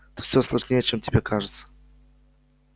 тут всё сложнее чем тебе кажется